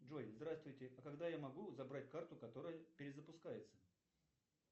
джой здравствуйте а когда я могу забрать карту которая перезапускается